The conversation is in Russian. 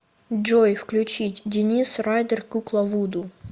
джой включить денис райдер кукла вуду